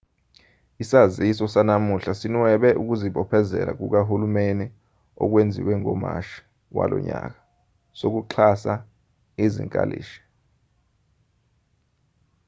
isaziso sanamuhla sinwebe ukuzibophezela kukahulumeni okwenziwe ngomashi walonyaka sokuxhasa izinkalishi